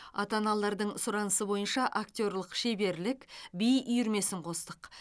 ата аналардың сұранысы бойынша актерлік шеберлік би үйірмесін қостық